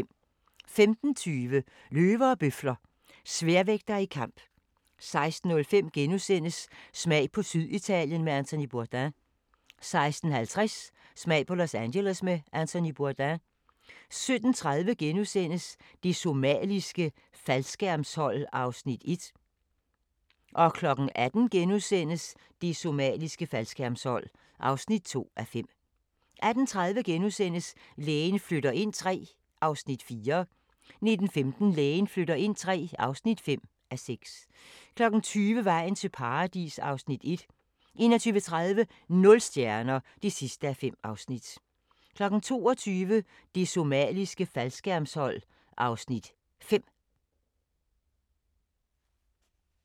15:20: Løver og bøfler – sværvægtere i kamp 16:05: Smag på Syditalien med Anthony Bourdain * 16:50: Smag på Los Angeles med Anthony Bourdain 17:30: Det Somaliske Faldskærmshold (1:5) 18:00: Det somaliske faldskærmshold (2:5)* 18:30: Lægen flytter ind III (4:6)* 19:15: Lægen flytter ind III (5:6) 20:00: Vejen til Paradis (Afs. 1) 21:30: Nul stjerner (5:5) 22:00: Det somaliske faldskærmshold (Afs. 5)